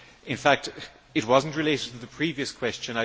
In fact, it was not related to the previous question